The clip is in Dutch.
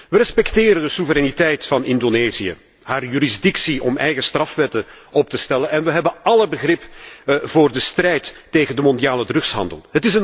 We respecteren de soevereiniteit van Indonesië en zijn bevoegdheid om eigen strafwetten op te stellen. We hebben alle begrip voor de strijd tegen de mondiale drugshandel.